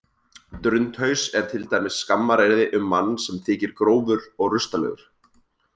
Drundhaus er til dæmis skammaryrði um mann sem þykir grófur og rustalegur.